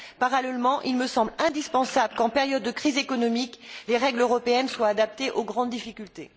Parallèlement, il me semble indispensable qu'en période de crise économique, les règles européennes soient adaptées aux grandes difficultés.